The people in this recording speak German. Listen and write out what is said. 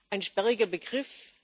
ein sperriger Begriff.